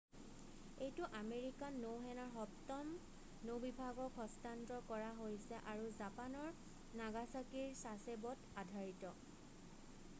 এইটো আমেৰিকান নৌসেনাৰ সপ্তম নৌ-বিভাগক হস্তান্তৰ কৰা হৈছে আৰু জাপানৰ নাগাছাকিৰ ছাছেব'ত আধাৰিত